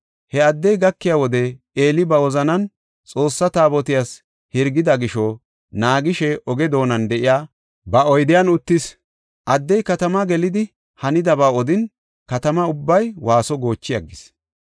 He addey gakiya wode Eeli ba wozanan Xoossa Taabotiyas hirgida gisho naagishe oge doonan de7iya ba oydiyan uttis. Addey katama gelidi, hanidaba odin, katama ubbay waaso goochi aggis.